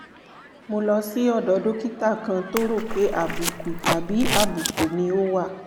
mo lọ sí ọ̀dọ̀ dókítà kan tó rò pé àbùkù tàbí àbùkù ni ó wà